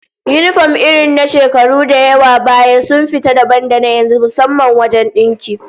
Yinifom irin na shekaru da yawa baya sun fita dabam da yanzu, musamman wajen dinki